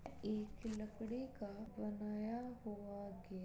एक लकड़े का बनाया हुआ गेट --